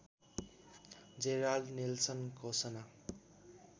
Gerald Nelson घोषणा